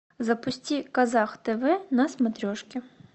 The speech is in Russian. запусти казах тв на смотрешке